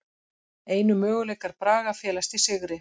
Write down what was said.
Einu möguleikar Braga felast í sigri